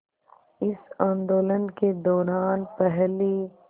इस आंदोलन के दौरान पहली